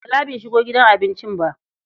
Bala bai shigo gidan abincin ba.